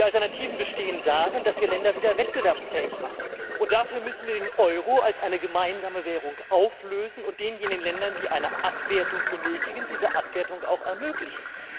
Die Alternativen bestehen darin, dass wir Länder wieder wettbewerbsfähig machen, und dafür müssen wir den Euro als eine gemeinsame Währung auflösen und denjenigen Ländern, die eine Abwertung benötigen, diese Abwertung auch ermöglichen.